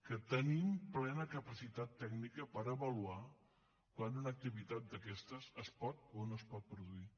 que tenim plena capacitat tècnica per avaluar quan una activitat d’aquestes es pot o no es pot produir